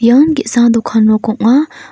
ian ge·sa dokan nok ong·a.